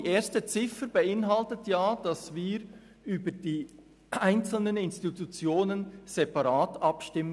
Die erste Ziffer der Motion fordert ja, dass wir über die einzelnen Institutionen separat abstimmen.